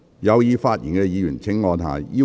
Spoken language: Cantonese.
有意發言的議員請按"要求發言"按鈕。